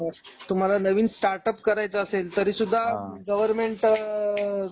तुम्हाला नवीन स्टार्टअप करायचे असेल तरी सुद्धा गवर्नमेंट अहं